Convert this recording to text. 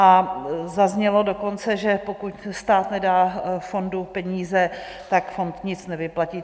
A zaznělo dokonce, že pokud stát nedá fondu peníze, tak fond nic nevyplatí.